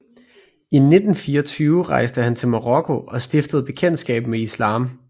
I 1924 rejste han til Marokko og stiftede bekendtskab med Islam